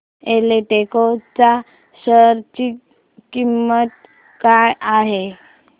एल्डेको च्या शेअर ची किंमत काय आहे